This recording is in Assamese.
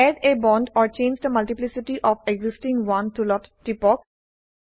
add a bond or change the multiplicity of existing one টুলত টিপক